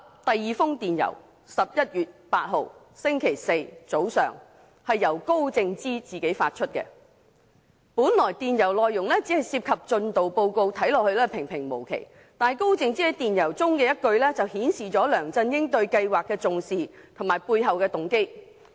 第二封電郵是在11月8日星期四早上由高靜芝自己發出，本來電郵內容只涉及進度報告，看似平平無奇，但高靜芝在電郵中的一句，就顯示了梁振英對計劃的重視及背後動機。